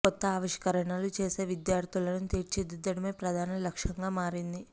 కొత్త ఆవిష్కర ణలు చేసే విద్యార్థులను తీర్చిదిద్దడమే ప్రధాన లక్ష్యంగా మారింది